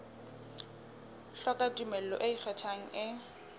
hloka tumello e ikgethang e